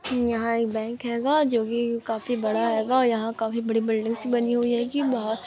यहां एक बैंक होगा जोकि काफी बड़ा होगा । यहां काफी बड़ी बिल्डिंग्स (buildings) बनी हुयी है की बहा --